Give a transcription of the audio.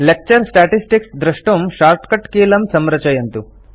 lecture statistics दृष्टुं shortcut कीलं संरचयन्तु